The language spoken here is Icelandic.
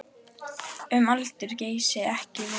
Um aldur Geysis er ekki vitað.